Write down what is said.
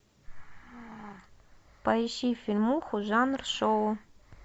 поищи фильмуху жанр шоу